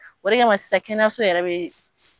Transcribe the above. O de kama sisan kɛnɛyaso yɛrɛ bɛ